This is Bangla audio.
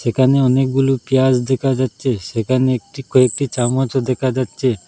একানে অনেকগুলু পিঁয়াজ দেখা যাচ্ছে সেখানে একটি কয়েকটি চামচও দেখা যাচ্ছে।